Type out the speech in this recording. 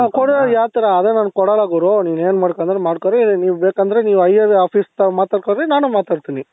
ಆ ಕೊಡೋದ್ ಯಾವ್ತರ ಆದ್ರೆ ನಾನ್ ಕೊಡಲ್ಲ ಗುರು ನೀನ್ ಏನ್ ಮಾಡ್ಕೊಂತೀಯ ಮಾಡ್ಕೊಳ್ಳಿ ಇಲ್ಲ ನೀವು ಬೇಕಂದ್ರೆ higher officer ತವ ಮಾತಾಡ್ಕೊಳ್ಳಿ ನಾನು ಮಾತಾಡ್ತೀನಿ